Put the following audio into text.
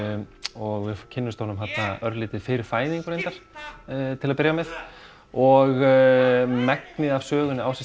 og við kynnumst honum örlítið fyrir fæðingu reyndar til að byrja með og megnið af sögunni á sér